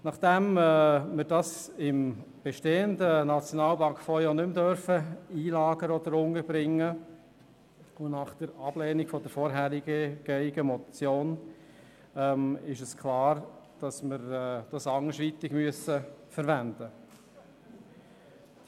Da wir das Geld im bestehenden SNB-Fonds nicht mehr einlagern oder unterbringen dürfen, und nachdem die vorhergehende Motion abgelehnt wurde, ist klar, dass wir das Geld anderweitig verwenden müssen.